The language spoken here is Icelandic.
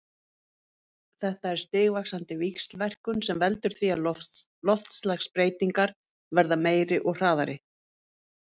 Þetta er stigvaxandi víxlverkun sem veldur því að loftslagsbreytingar verða meiri og hraðari.